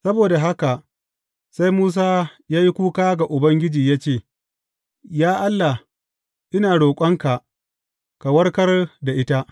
Saboda haka sai Musa ya yi kuka ga Ubangiji ya ce, Ya Allah, ina roƙonka ka warkar da ita!